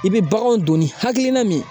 I bɛ baganw don ni hakilina min ye